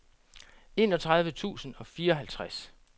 enogtredive tusind og fireoghalvtreds